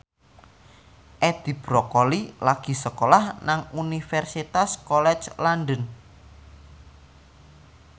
Edi Brokoli lagi sekolah nang Universitas College London